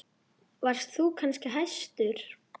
Varst þú kannski hæstur?